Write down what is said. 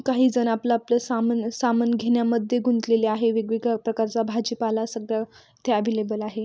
काही जण आपल-आपल सामन-सामान घेण्या मध्ये गुंतलेले आहे वेग-वेगळ्या प्रकारच्या भाजीपाला सगळा येथे अवेलेबल आहे.